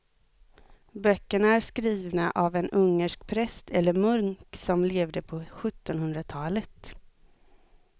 Böckerna är skrivna av en ungersk präst eller munk som levde på sjuttonhundratalet.